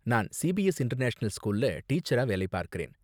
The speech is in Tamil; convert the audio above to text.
நான் சிபிஎஸ் இன்டர்நேஷனல் ஸ்கூல்ல டீச்சரா வேலை பார்க்கறேன்.